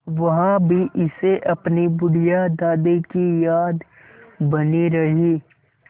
वहाँ भी इसे अपनी बुढ़िया दादी की याद बनी रही